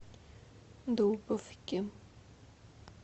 дубовке